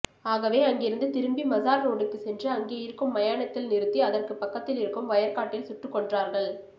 ஆகவே அங்கிருந்து திரும்பி மஸார் ரோடுக்கு சென்று அங்கே இருக்கும் மயானத்தில் நிறுத்தி அதற்கு பக்கத்தில் இருக்கும் வயற்காட்டில் சுட்டுகொன்றார்கள்